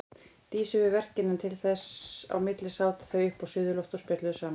Dísu við verkin en þess á milli sátu þau uppi á suðurlofti og spjölluðu saman.